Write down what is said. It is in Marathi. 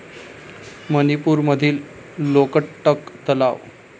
मणिपूर मधील लोकटक तलाव